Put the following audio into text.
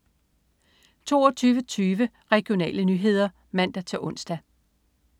22.20 Regionale nyheder (man-ons)